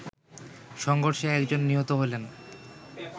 সংঘর্ষে একজন নিহত হলেন